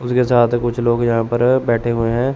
उसके साथ कुछ लोग यहां पर बैठे हुए हैं।